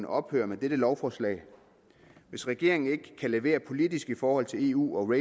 ophøre med dette lovforslag hvis regeringen ikke kan levere politisk i forhold til eu og